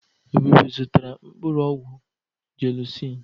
Ebube zụtara mkpụrụ ọgwụ jelusin.